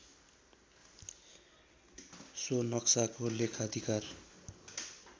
so नक्साको लेखाधिकार